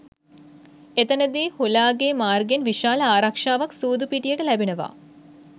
එතනදී හුලාගේ මාර්ගයෙන් විශාල ආරක්‍ෂාවක්‌ සූදු පිටියට ලැබෙනවා